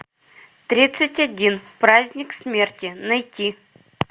тридцать один праздник смерти найти